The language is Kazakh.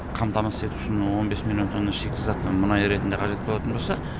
қамтамасыз ету үшін он бес миллион тонна шикізат мұнай ретінде қажет болатын болса